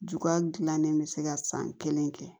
Juga gilannen bɛ se ka san kelen kɛ